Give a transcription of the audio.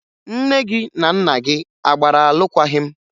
Nne gị na nna gị a gbara alụkwaghị m?